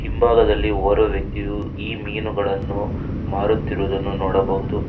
ಹಿಂಭಾಗದಲ್ಲಿ ಓರ್ವ ವ್ಯಕ್ತಿಯು ಈ ಮೀನುಗಳನ್ನು ಮಾರುತ್ತಿರುದನ್ನು ನೋಡಬಹುದು.